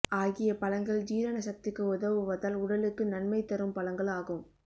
ஆகிய பழங்கள் ஜீரண சக்திக்கு உதவுவதால் உடலுக்கு நன்மை தரும் பழங்கள் ஆகும்